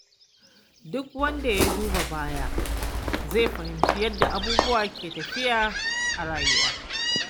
Duk wanda ya duba baya zai fahimci yadda abubuwa ke tafiya a rayuwa.